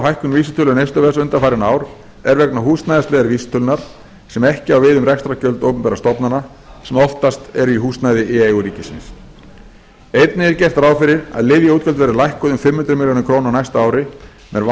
hækkun vísitölu neysluverðs undanfarin ár er vegna húsnæðisliðar vísitölunnar sem ekki á við um rekstrargjöld opinberra stofnana sem oftast eru í húsnæði í eigu ríkisins einnig er gert ráð fyrir að lyfjaútgjöld verði lækkuð um fimm hundruð milljóna króna á næsta ári með